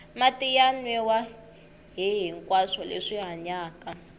mati ya nwiwa hihinkwaswo leswi hanyaka